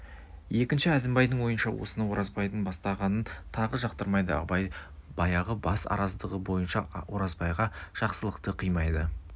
екінші әзімбайдың ойынша осыны оразбайдың бастағанын тағы жақтырмайды абай баяғы бас араздығы бойынша оразбайға жақсылықты қимайды